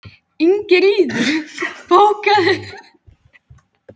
Ingiríður, bókaðu hring í golf á fimmtudaginn.